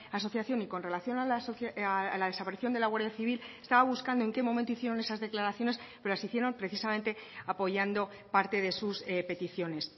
asociación y con relación a la desaparición de la guardia civil estaba buscando en qué momento hicieron esas declaraciones pero las hicieron precisamente apoyando parte de sus peticiones